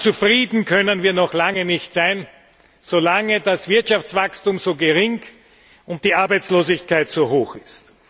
Aber zufrieden können wir noch lange nicht sein, solange das Wirtschaftswachstum so gering und die Arbeitslosigkeit so hoch ist.